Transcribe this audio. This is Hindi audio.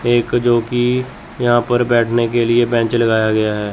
एक जोकि यहाँ पर बैठेने के लिए बेंच लगाया गया है।